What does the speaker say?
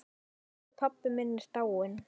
Elsku pabbi minn er dáinn.